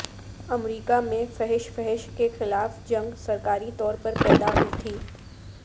امریکہ میں فحش فحش کے خلاف جنگ سرکاری طور پر پیدا ہوئی تھی